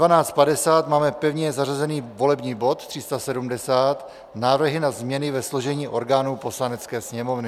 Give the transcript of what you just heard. Ve 12.50 máme pevně zařazený volební bod 370 - návrhy na změny ve složení orgánů Poslanecké sněmovny.